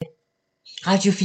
Radio 4